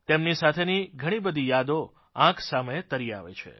તેમની સાથેની ઘણી બધી યાદોં આંખ સામે તરી આવે છે